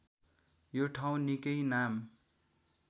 यो ठाउँ निकै नाम